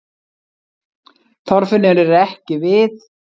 Þorfinnur er ekki við